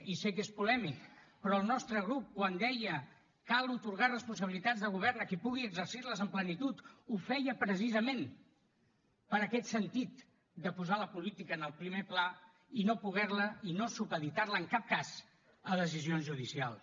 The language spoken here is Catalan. i sé que és polèmic però el nostre grup quan deia cal atorgar responsabilitats de govern a qui pugui exercir les amb plenitud ho feia precisament per aquest sentit de posar la política en el primer pla i no supeditar la en cap cas a decisions judicials